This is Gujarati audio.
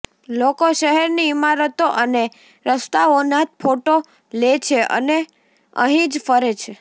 લોકો શહેરની ઈમારતો અને રસ્તાઓના જ ફોટો લે છે અને અહીં જ ફરે છે